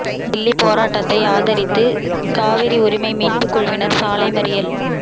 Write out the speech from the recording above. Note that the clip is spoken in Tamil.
தில்லி போராட்டத்தை ஆதரித்து காவிரி உரிமை மீட்புக் குழுவினா் சாலை மறியல்